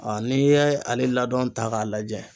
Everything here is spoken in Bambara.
n'i ye ale ladɔn ta k'a lajɛ